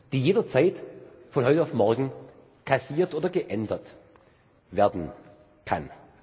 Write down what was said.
die jederzeit von heute auf morgen kassiert oder geändert werden kann.